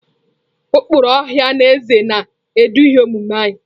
Ụkpụrụ ọha na eze na-eduzi omume anyị.